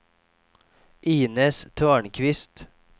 Inez Törnqvist